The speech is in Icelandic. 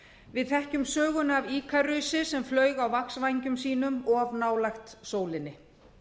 við þekkjum söguna af íkarusi sem flaug á vaxvængjum sínum of nálægt sólinni